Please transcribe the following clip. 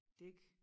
Dække